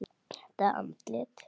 Þetta andlit.